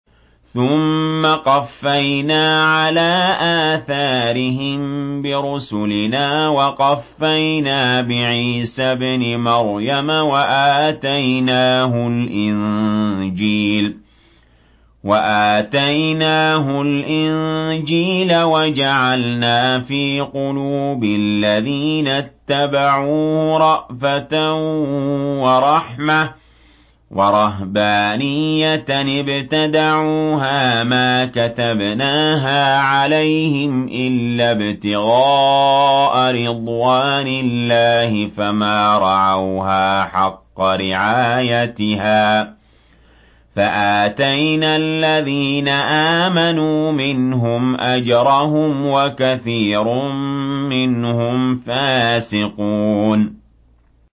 ثُمَّ قَفَّيْنَا عَلَىٰ آثَارِهِم بِرُسُلِنَا وَقَفَّيْنَا بِعِيسَى ابْنِ مَرْيَمَ وَآتَيْنَاهُ الْإِنجِيلَ وَجَعَلْنَا فِي قُلُوبِ الَّذِينَ اتَّبَعُوهُ رَأْفَةً وَرَحْمَةً وَرَهْبَانِيَّةً ابْتَدَعُوهَا مَا كَتَبْنَاهَا عَلَيْهِمْ إِلَّا ابْتِغَاءَ رِضْوَانِ اللَّهِ فَمَا رَعَوْهَا حَقَّ رِعَايَتِهَا ۖ فَآتَيْنَا الَّذِينَ آمَنُوا مِنْهُمْ أَجْرَهُمْ ۖ وَكَثِيرٌ مِّنْهُمْ فَاسِقُونَ